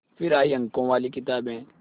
फिर आई अंकों वाली किताबें